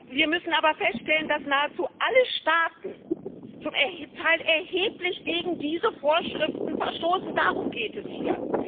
Wir müssen aber feststellen, dass nahezu alle Staaten zum Teil erheblich gegen diese Vorschriften verstoßen darum geht es hier.